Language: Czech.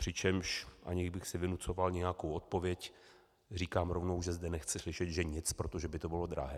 Přičemž, aniž bych si vynucoval nějakou odpověď, říkám rovnou, že zde nechci slyšet, že nic, protože by to bylo drahé.